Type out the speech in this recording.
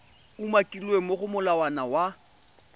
umakilweng mo go molawana wa